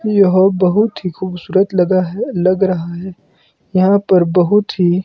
यह बहोत ही खूबसूरत लगा है लग रहा है यहां पर बहोत ही--